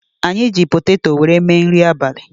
Anyị ji potato wéré gbaa abalị